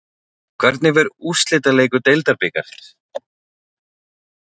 Hvernig fer úrslitaleikur Deildabikarsins?